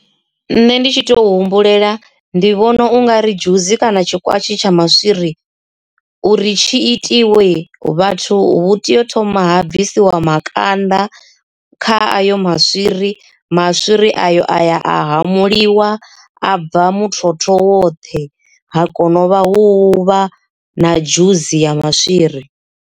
Nṋe ndi tshi tou humbulela ndi vhona u nga ri dzhusi kana tshikwati tsha maswiri uri tshi itiwe vhathu tea u thoma ha bvisiwa makanda kha ayo maswiri maswiri ayo aya a hamuliwa a bva muthotho woṱhe ha kona u vha hu vha na dzhusi ya maswiri.